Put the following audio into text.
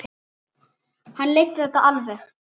hann leiddi þetta alveg.